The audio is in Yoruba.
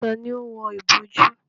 Tani ó wọ ìbojú?